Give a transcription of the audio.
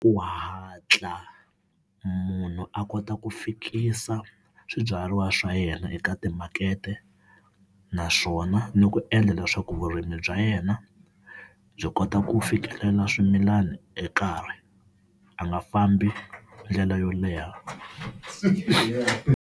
Ku hatla munhu a kota ku fikisa swibyariwa swa yena eka timakete naswona ni ku endla leswaku vurimi bya yena byi kota ku fikelela swimilani hi nkarhi, a nga fambi ndlela yo leha.